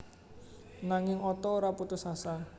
Nanging Otto ora putus asa